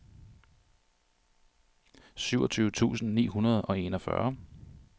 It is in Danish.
syvogtyve tusind ni hundrede og enogfyrre